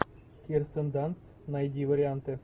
кирстен данст найди варианты